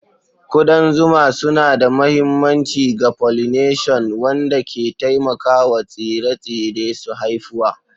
Kudan zuma suna da mahimmanci ga pollination, wanda ke taimakawa tsire-tsire su haifuwa.